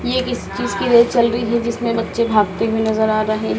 ये किस चीज की रेल चल रही है जिसमें बच्चे भागते हुए नजर आ रहे हैं।